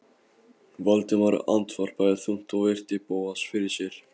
Valdimar andvarpaði þungt og virti Bóas fyrir sér.